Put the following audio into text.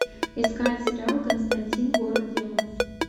искать сериал константин город демонов